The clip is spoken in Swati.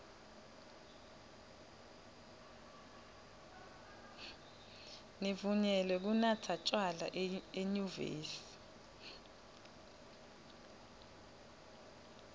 nivunyelwe kunatsa tjwala enyuvesi